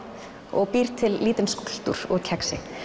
og býr til lítinn skúlptúr úr kexi